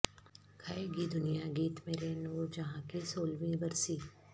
گائے گی دنیا گیت میرے نور جہاں کی سولہویں برسی